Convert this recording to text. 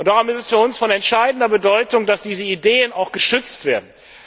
Darum ist es für uns von entscheidender Bedeutung, dass diese Ideen auch geschützt werden.